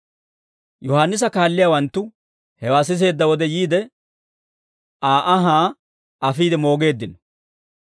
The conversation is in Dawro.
Yohaannisa kaalliyaawanttu hewaa siseedda wode yiide, Aa anhaa afiide moogeeddino.